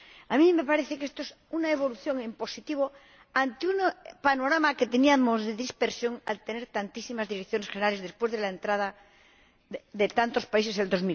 A mí me parece que esto es una evolución en positivo ante un panorama de dispersión al tener tantísimas direcciones generales después de la entrada de tantos países en el año